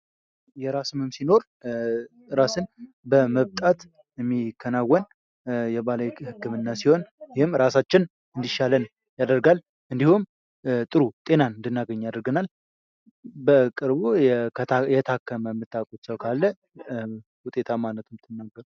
የራስ ህመም ሲኖር ራስን በመብጣት የሚከናወን የባህላዊ ህክምና ሲሆን ፤ ይህም ራሳችንን እንዲሻልን ያደርጋል፥ እንዲሁም ጤና እንድናገኝ ያደርገናል። በቅርቡ የታከመ ሰው የምታውቁት ካለ ውጤታማነቱን ብትነግሩን?